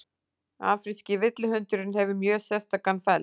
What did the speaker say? Afríski villihundurinn hefur mjög sérstakan feld